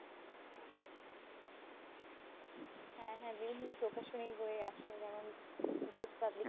হ্যাঁ, হ্যাঁ। বিভিন্ন প্রকাশনীর বই আসে। যেমন দেশ publications